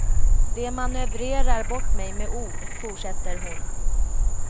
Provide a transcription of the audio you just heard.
De manövrerar bort mig med ord, fortsätter hon.